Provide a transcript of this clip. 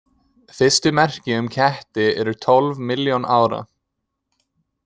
Fyrstu merki um ketti eru tólf milljón ára.